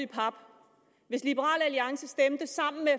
i pap hvis liberal alliance stemte sammen med